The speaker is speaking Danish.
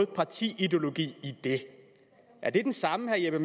parti ideologi i det er det den samme herre jeppe